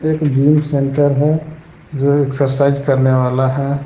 एक gym centre है जो एक्सरसाइज करने वाला है।